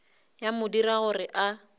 ya mo dira gore a